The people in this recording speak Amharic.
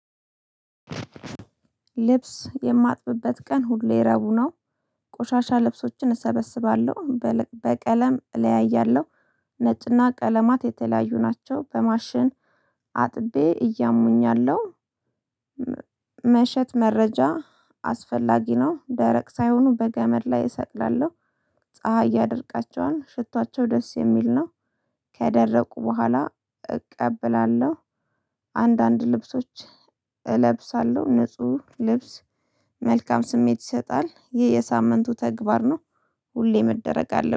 ልብስ የማጥብበት ቀን ሁሌ ረቡዕ ነው። ቆሻሻ ልብሶችን እሰበስባለሁ በቀለም እለያያለሁ ነጭና ቀለማት የተለያዩ ናቸው። በማሽን አጥቤ እያሙኛለሁ። መሸጥ መረጃ አስፈላጊ ነው። ደረቅ ሳይሆኑ በገመድ ላይ እሰቅላለሁ። ፀሀይ ያደርቃቸውን ሽታቸው ደስ የሚል ነው። ከደረቁ በኋላ እቀበላለሁ። አንዳንድ ልብሶች እለብሳለሁ ንጹህ ልብስ መልካም ስሜት ይሰጣል ይህ የሳምንቱ ተግባር ነው። ሁሌ መደረግ አለብኝ